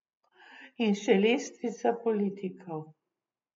In še lestvica politikov.